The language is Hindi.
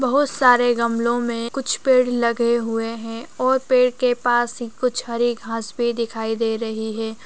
बहुत सारे गमलो में कुछ पेड़ लगे हुए हैं और पेड़ के पास कुछ हरी घास भी दिखाई दे रही हैं।